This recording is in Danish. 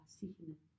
Bare se hinanden